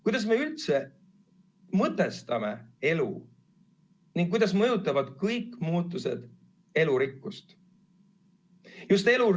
Kuidas me üldse mõtestame elu ning kuidas mõjutavad kõik muutused elurikkust?